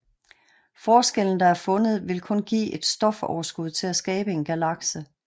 Forskellen der er fundet vil kun give et stofoverskud til at skabe en galakse